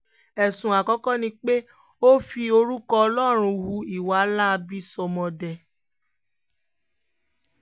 ẹ̀sùn àkọ́kọ́ ni pé ó fi orúkọ ọlọ́run hu ìwà láabi sọ́mọdé